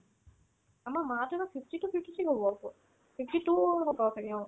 আমাৰ মা হ'তৰতো fifty-two fifty-three হ'ব fifty-two হ'ব চাগে অ